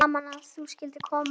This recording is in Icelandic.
Gaman að þú skyldir koma.